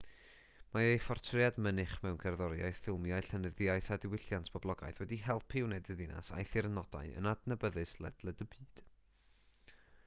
mae ei phortread mynych mewn cerddoriaeth ffilmiau llenyddiaeth a diwylliant poblogaidd wedi helpu i wneud y ddinas a'i thirnodau yn adnabyddus ledled y byd